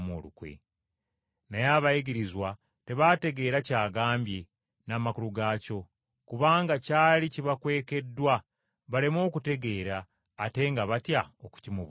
Naye abayigirizwa tebaategeera ky’agambye n’amakulu gaakyo. Kubanga kyali kibakwekebbwa, baleme okutegeera ate nga batya okukimubuuza.